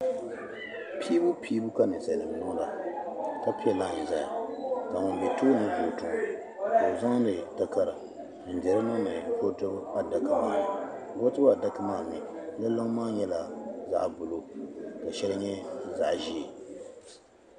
Piibu piibu ka ninsalinima niŋda ka pie layi zaya ka ŋun be tooni ka o zaŋdi takara n dihiri niŋdi vootibu adaka ni vootibu adaka maani di liŋ maa nyɛla zaɣa buluu ka sheli nyɛ zaɣa ʒee.